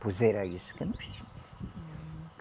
Pois era isso que nós